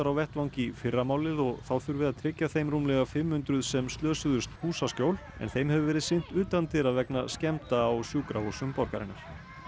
á vettvang í fyrramálið og þá þurfi að tryggja þeim rúmlega fimm hundruð sem slösuðust húsaskjól en þeim hefur verið sinnt utandyra vegna skemmda á sjúkrahúsum borgarinnar